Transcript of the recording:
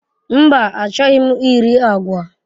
Mba, achọghị m iri agwa.